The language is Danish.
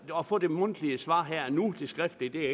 at få det mundtlige svar her og nu det skriftlige er